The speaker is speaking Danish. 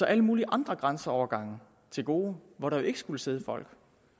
alle mulige andre grænseovergange til gode hvor der jo ikke skulle sidde folk